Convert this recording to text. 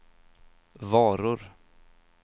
varor